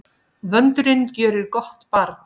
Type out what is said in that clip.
Vöndurinn gjörir gott barn.